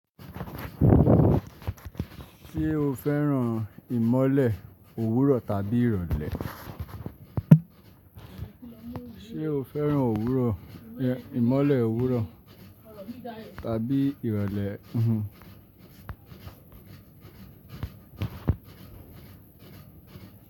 Ṣé o fẹ́ràn ìmọ́lẹ̀ òwúrọ̀ tàbí ìrọ̀lẹ́? Ṣé o fẹ́ràn òwúrọ̀, ẹ, ìmọ́lẹ̀ òwúrọ̀ tàbí ìrọ̀lẹ́?